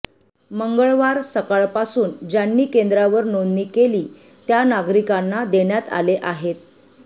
मंगळवार सकाळपासून ज्यांनी केंद्रावर नोंदणी केली त्या नागरिकांना देण्यात आले आहेत